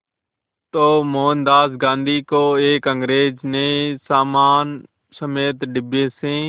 तो मोहनदास गांधी को एक अंग्रेज़ ने सामान समेत डिब्बे से